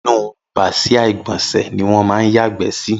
Inú bàsiá igbọnsẹ̀ niwọn mà n yàgbẹ si